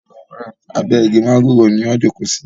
Abe igi mángòrò ni a jókò sí.